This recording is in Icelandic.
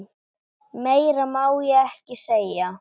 Meira má ég ekki segja.